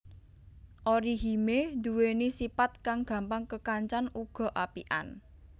Orihime nduweni sipat kang gampang kekancan uga apikan